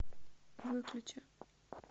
выключи